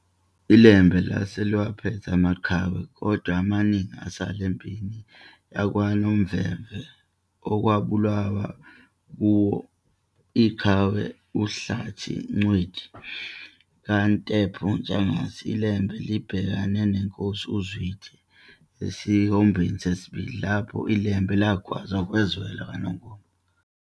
ILembe lase liwaphethe amaqhawe, kodwa amaningi asala empini yakwaNomvemve okubalwa kuwo iqhawe uHlathi kaNcindi kaNtopho Ntshangase, iLembe libhekene neNkosi uZwide esiwombeni sesibili, lapho iLembe lagwaza kwazwela kwaNongoma.